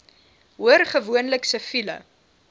hoor gewoonlik siviele